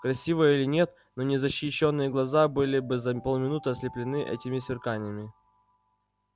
красиво или нет но незащищенные глаза были бы за полминуты ослеплены этими сверканиями